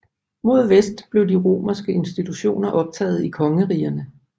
Mod vest blev de få romerske institutioner optaget i kongerigerne